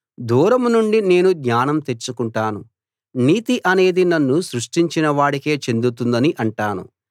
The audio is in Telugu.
దూరం నుండి నేను జ్ఞానం తెచ్చుకుంటాను నీతి అనేది నన్ను సృష్టించిన వాడికే చెందుతుందని అంటాను